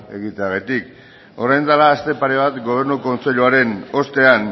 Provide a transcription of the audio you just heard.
egiteagatik orain dela aste pare bat gobernu kontseiluaren ostean